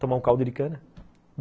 Tomar um caldo de cana?